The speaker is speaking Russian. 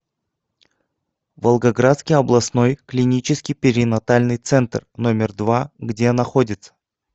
волгоградский областной клинический перинатальный центр номер два где находится